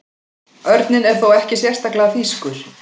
Örninn er þó ekki sérstaklega þýskur.